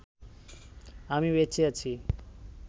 আমি বেঁচে আছি